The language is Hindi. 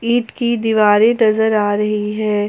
ईट की दिवारे नजर आ रही है।